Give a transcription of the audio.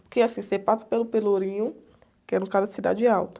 Porque assim, você passa pelo Pelourinho, que é, no caso, a Cidade Alta.